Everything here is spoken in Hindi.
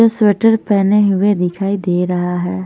स्वेटर पेहने हुए दिखाई दे रहा हैं।